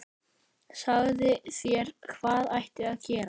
Sagði þér hvað ætti að gera.